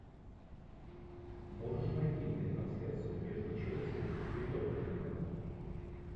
можешь найти мне трансляцию между челси и тоттенхэмом